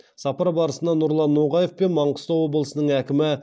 сапар барысында нұрлан ноғаев пен маңғыстау облысының әкімі